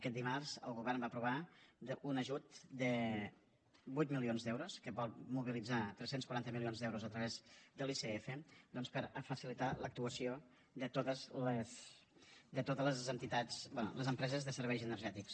aquest dimarts el govern va aprovar un ajut de vuit milions d’euros que vol mobilitzar tres cents i quaranta milions d’euros a través de l’icf doncs per facilitar l’actuació de totes les entitats bé les empreses de serveis energètics